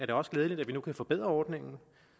det også glædeligt at vi nu kan forbedre ordningen